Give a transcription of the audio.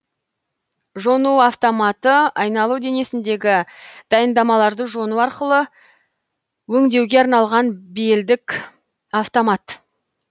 жону автоматы айналу денесіндегі дайындамаларды жону арқылы өңдеуге арналған белдік автомат